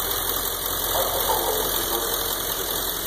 марко поло эпизод тридцать шесть